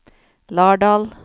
Lardal